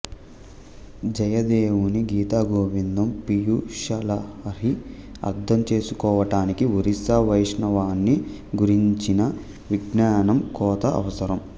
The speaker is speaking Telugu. జయదేవుని గీతగోవిందం పీయూషలహరి అర్ధంచేసుకోవటానికి ఒరిస్సా వైష్ణవాన్ని గురించిన విజ్ఞానం కొత అవసరం